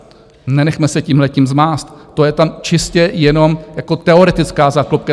Nenechme se tímhletím zmást, to je tam čistě jenom jako teoretická záklopka.